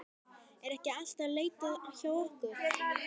Er ekki alltaf leitað hjá okkur?